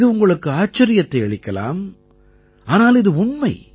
இது உங்களுக்கு ஆச்சரியத்தை அளிக்கலாம் ஆனால் இது உண்மை